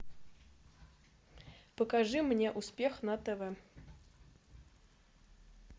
покажи мне успех на тв